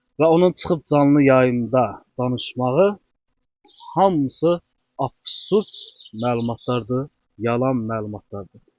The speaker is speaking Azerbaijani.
Və onun çıxıb canlı yayımda danışmağı hamısı absurd məlumatlardır, yalan məlumatlardır.